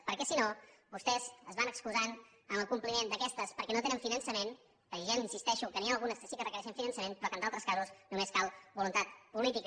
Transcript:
perquè si no vostès es van excusant en el compliment d’aquestes perquè no tenen finançament que jo ja li insisteixo que n’hi ha algunes que sí que requereixen finançament però que en d’altres casos només cal voluntat política